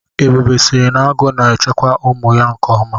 Ebube sịrị nagu na-echekwa ụmụ ya nkeọma.